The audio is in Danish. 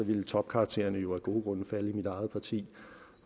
ville topkaraktererne jo af gode grunde falde i mit eget parti